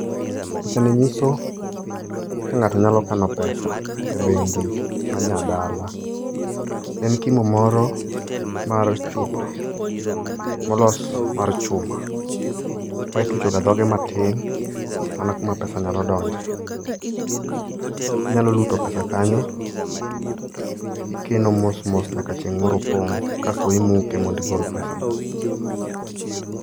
Picha ni nyiso kaka ng'ato nyalo kano pesa e bengi ma nya dala. En kimo moro mar chupa molos mar chuma ma itucho ga dhoge matin mana kuma pesa nyalo donje. Inyalo luto pesa kanyo, ikeno mosmos nyaka chieng' moro opong' kasto imuke mondi gol pesago.